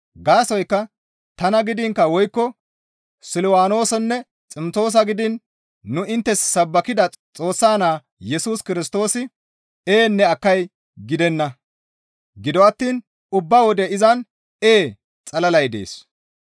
Gaasoykka tana gidiin woykko Silwaanoosanne Ximtoosa gidiin nu inttes sabbakida Xoossa Naa Yesus Kirstoosi, «Eenne akkay» gidenna; gido attiin ubba wode izan, «Ee» xalalay dees.